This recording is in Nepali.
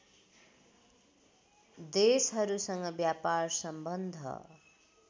देशहरूसँग व्यापार सम्बन्ध